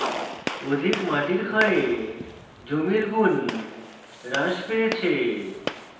অধিক মাটির ক্ষয়ে জমির গুণ হ্রাস পেয়েছে